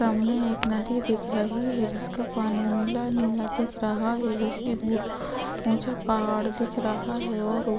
सामने एक नदी दिख रही है जिसका पानी नीला-नीला दिख रहा है जिसके दूर ऊचे पहाड़ दिख रहा है और --